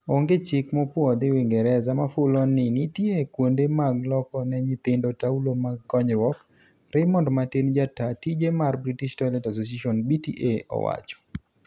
Onge chik mopwodhi Uingereza mafulo ni nitie kuonde mag loko ne nyithindo taulo mag konyruok, Raymond Martin, Jataa tije mar British Toilet Association (BTA) owacho.